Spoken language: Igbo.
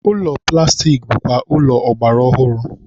ụlọ plastik bụkwa ụlọ ọgbara ọhụrụ.